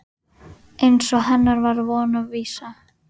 Eins og hennar var von og vísa.